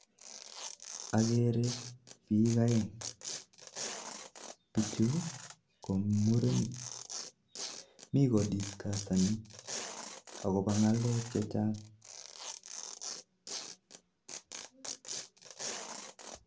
Akerei bik aeng bichu ko murenik, mi komwoe ng'alek chechang